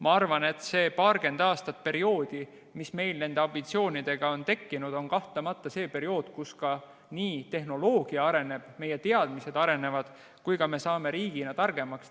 Ma arvan, et see paarikümneaastane periood, mis meil nende ambitsioonidega on tekkinud, on kahtlemata see periood, kus ka tehnoloogia areneb, meie teadmised arenevad ja me saame riigina targemaks.